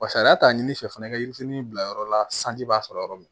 Wa sariya t'a ɲini fɛ fana i ka yirifitini bila yɔrɔ la sanji b'a sɔrɔ yɔrɔ min